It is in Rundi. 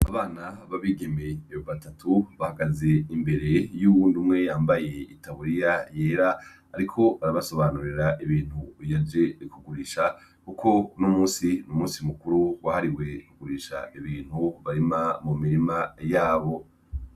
Abana babigeme batatu bahagaze imbere yuwundi umwe yambaye itaburiya yera ariko arabasobanurira ibintu yaje kugurisha kuko uno munsi numunsi mukuru wahariwe igurisha bintu barima mumirima yabo.